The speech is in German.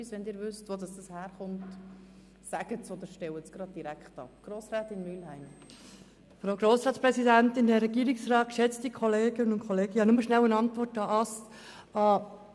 Meiner Meinung nach wäre es sinnvoll, einmal mit denjenigen Polizeibeamten zu sprechen, die relativ viel Erfahrung mit dem Ablauf von unbewilligten Demonstrationen haben.